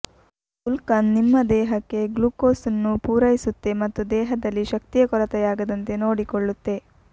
ಗುಲ್ಕಂದ್ ನಿಮ್ಮ ದೇಹಕ್ಕೆ ಗ್ಲೂಕೋಸ್ ನ್ನು ಪೂರೈಸುತ್ತೆ ಮತ್ತು ದೇಹದಲ್ಲಿ ಶಕ್ತಿಯ ಕೊರತೆಯಾಗದಂತೆ ನೋಡಿಕೊಳ್ಳುತ್ತೆ